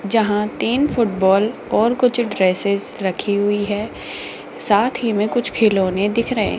जहां तीन फुटबॉल और कुछ ड्रेसस रखी हुई है साथ ही में कुछ खिलौने दिख रहे हैं।